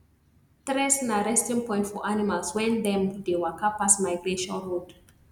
tress na resting point for animals wen them dey waka pass migration road